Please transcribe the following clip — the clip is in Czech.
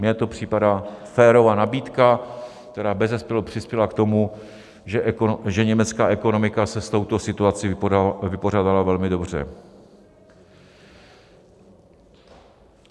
Mně to připadá férová nabídka, která bezesporu přispěla k tomu, že německá ekonomika se s touto situací vypořádala velmi dobře.